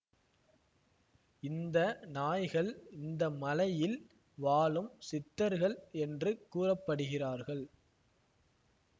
இந்த நாய்கள் இந்த மலையில் வாழும் சித்தர்கள் என்று கூறப்படுகிறார்கள்